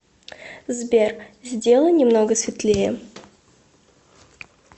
сбер сделай немного светлее